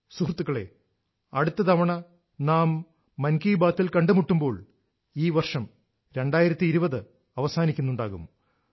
സുഹൃത്തുക്കളേ അടുത്ത തവണ നാം മൻ കീ ബാത്തിൽ കണ്ടുമുട്ടുമ്പോൾ ഈ വർഷം 2020 അവസാനിക്കുന്നുണ്ടാകും